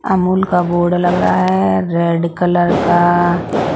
अमूल का बोर्ड लग रहा है रेड कलर का--